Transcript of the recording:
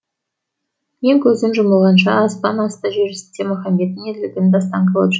мен көзім жұмылғанша аспан асты жер үстінде махамбеттің ерлігін дастан қылып жыр